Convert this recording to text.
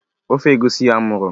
Ofe egusi amuru.